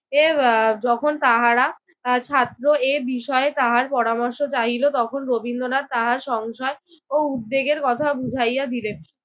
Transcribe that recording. এর আহ যখন তাহারা ছাত্র এই বিষয়ে তাহার পরামর্শ চাহিল তখন রবীন্দ্রনাথ তাহার সংশয় ও উদ্বেগের কথা বুঝাইয়া দিলেন।